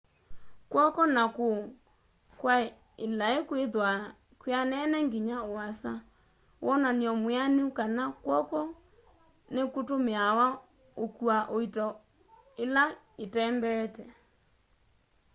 kw'oko na kuu kwa ilai kwithwaa kwianene nginya uasa wonany'o mwianu kana kw'oko nikutumiawa ukua uito ila itembeete